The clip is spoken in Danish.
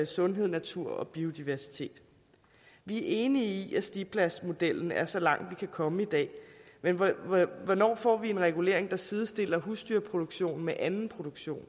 sundheden naturen og biodiversiteten vi er enige i at stipladsmodellen er så langt man kan komme i dag men hvornår får vi en regulering der sidestiller husdyrproduktionen med anden produktion